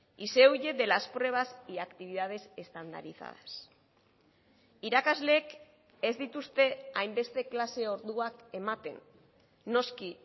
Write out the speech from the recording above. y se huye de las pruebas y actividades estandarizadas irakasleek ez dituzte hainbeste klase orduak ematen noski